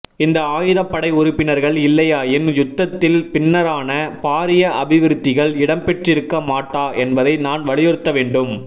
இந்த ஆயுதப் படை உறுப்பினர்கள் இல்லையாயின் யுத்தத்தின் பின்னரான பாரிய அபிவிருத்திகள் இடம்பெற்றிருக்க மாட்டா என்பதை நான் வலியுறுத்த வேண்டும்